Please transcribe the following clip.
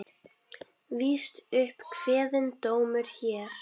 Víst upp kveðinn dómur hér.